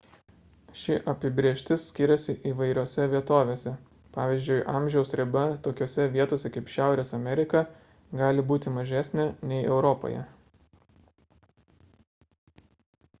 ši apibrėžtis skiriasi įvairiose vietovėse pvz. amžiaus riba tokiose vietose kaip šiaurės amerika gali būti mažesnė nei europoje